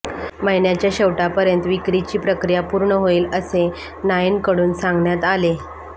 महिन्याच्या शेवटापर्यंत विक्रिची प्रकिया पूर्ण होईल असे नाईनकडून सांगण्यात आले